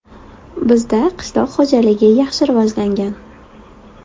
Bizda qishloq xo‘jaligi yaxshi rivojlangan.